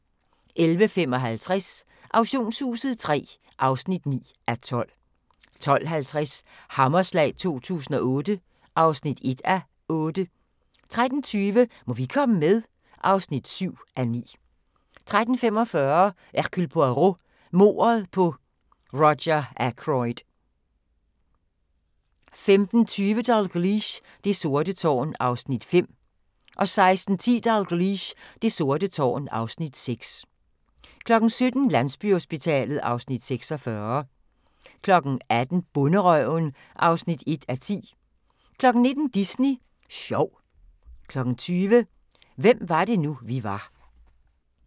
11:55: Auktionshuset III (9:12) 12:50: Hammerslag 2008 (1:8) 13:20: Må vi komme med? (7:9) 13:45: Hercule Poirot: Mordet på Roger Ackroyd 15:20: Dalgliesh: Det sorte tårn (Afs. 5) 16:10: Dalgliesh: Det sorte tårn (Afs. 6) 17:00: Landsbyhospitalet (Afs. 46) 18:00: Bonderøven (1:10) 19:00: Disney Sjov 20:00: Hvem var det nu, vi var